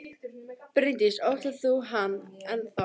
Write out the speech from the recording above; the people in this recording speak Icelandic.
Bryndís: Óttast þú hann enn þá?